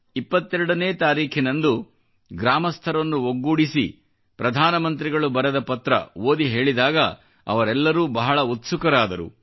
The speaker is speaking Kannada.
22 ನೇ ತಾರೀಖಿನಂದು ಗ್ರಾಮಸ್ಥರನ್ನು ಒಗ್ಗೂಡಿಸಿ ಪ್ರಧಾನ ಮಂತ್ರಿಗಳು ಬರೆದ ಪತ್ರ ಓದಿ ಹೇಳಿದಾಗ ಅವರೆಲ್ಲರೂ ಬಹಳ ಉತ್ಸುಕರಾದರು